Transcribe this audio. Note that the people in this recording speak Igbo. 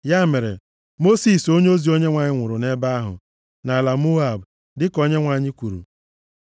Ya mere, Mosis, onyeozi Onyenwe anyị nwụrụ nʼebe ahụ, nʼala Moab, dịka Onyenwe anyị kwuru.